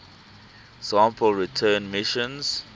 sample return missions